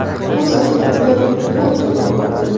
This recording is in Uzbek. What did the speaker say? Bu savolga juda ko‘p javob berdim”.